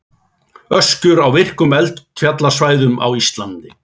Öskjur á virkum eldfjallasvæðum á Íslandi.